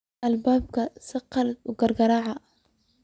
Albanka saqaladh kirkirac.